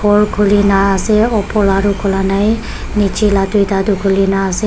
khuli ne ase oper la toh khula nai niche la tuita toh khuli ne ase.